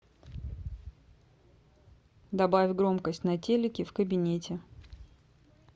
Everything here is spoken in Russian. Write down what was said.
добавь громкость на телике в кабинете